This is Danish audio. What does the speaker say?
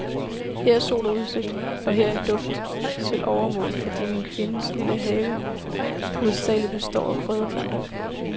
Her er sol og udsigt, og her er duft til overmål, fordi min kvindes lille have hovedsagelig består af krydderplanter.